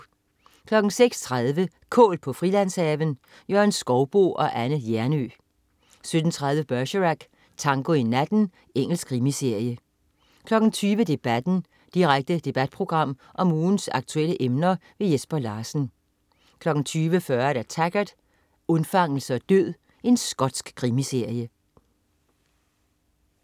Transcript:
16.30 Kål på Frilandshaven. Jørgen Skouboe og Anne Hjernøe 17.30 Bergerac: Tango i natten. Engelsk krimiserie 20.00 Debatten. Direkte debatprogram om ugens aktuelle emner. Jesper Larsen 20.40 Taggart: Undfangelse og død. Skotsk krimiserie